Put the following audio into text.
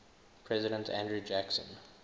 president andrew jackson